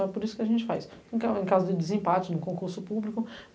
Então é por isso que a gente faz, em ca caso de desempate, no concurso público.